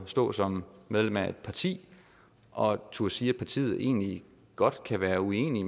stå som medlem af et parti og turde sige at partiet egentlig godt kan være uenig